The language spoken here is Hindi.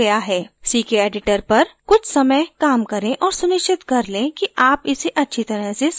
ckeditor पर कुछ समय काम करें और सुनिश्चत कर लें कि आप इसे अच्छी तरह से समझ गए हैं